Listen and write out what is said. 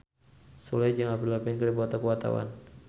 Sule jeung Avril Lavigne keur dipoto ku wartawan